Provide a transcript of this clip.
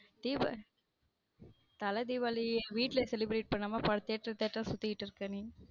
திபாவளி தல தீபாவளி வீட்ல celebrate பண்ணாம theater theater ஆ சுத்திக்கிட்டு இருக்க நீ.